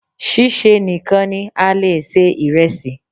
Ṣíṣe nìkan ni a le è se ìresì